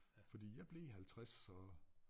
Fordi jeg blev 50 og